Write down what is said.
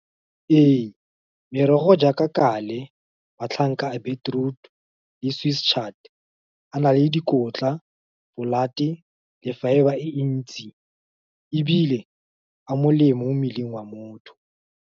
Ee, merogo jaaka kale, matlhanka a beetroot, le sweet chat, a na le dikotla, blood-e, le fibre e ntsi ebile a molemo mo mmeleng wa motho.